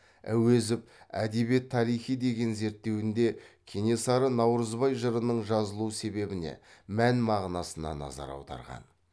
әуезов әдебиет тарихи деген зерттеуінде кенесары наурызбай жырының жазылу себебіне мән мағынасына назар аударған